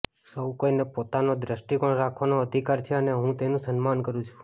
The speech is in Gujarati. સૌકોઇને પોતાના દ્રષ્ટિકોણ રાખવાનો અધિકાર છે અને હું તેનું સન્માન કરુ છું